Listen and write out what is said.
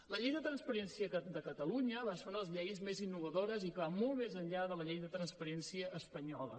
la llei de transparència de catalunya va ser una de les lleis més innovadores i que va molt més enllà de la llei de transparència espanyola